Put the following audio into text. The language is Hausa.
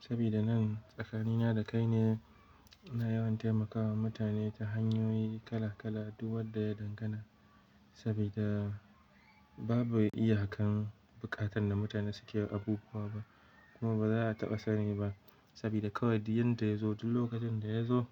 saboda nan tsakanina da kai ne, na yawan taimakawa mutane ta hanyoyi kala-kala duk wadda ya dangana. Saboda babu iyaka'n bukatan da mutane suke abubuwa ba kuma baza a taɓa sani ba saboda kawai yadda ya zo duk lokacin da ya zo